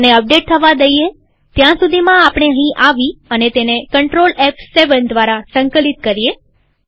તેને અપડેટ થવા દઈએત્યાં સુધીમાં આપણે અહીં આવી અને તેને CTRLF7 દ્વારા સંકલિત કરીએ